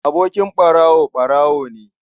Abokin ɓarawo, ɓarawo ne.